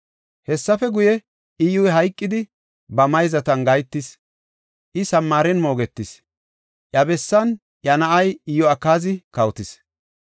Hessafe guye, Iyyuy hayqidi, ba mayzatan gahetis; I Samaaren moogetis. Iya bessan iya na7ay Iyo7akaazi kawotis.